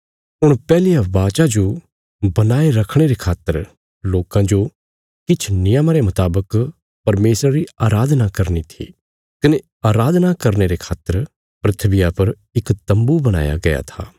हुण पैहलिया वाचा जो बणाये रखणे रे खातर लोकां जो किछ नियमा रे मुतावक परमेशरा री अराधना करनी थी कने अराधना करने रे खातर धरतिया पर इक तम्बू बणाया गया था